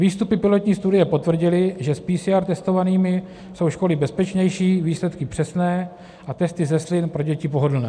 Výstupy pilotní studie potvrdily, že s PCR testovanými jsou školy bezpečnější, výsledky přesné a testy ze slin pro děti pohodlné.